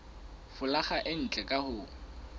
folaga e ntle ka ho